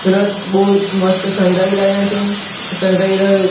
રથ બો મસ્ત શણગાઈ રહ્યા છે શનગાઈ ર--